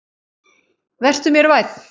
Vertu mér vænn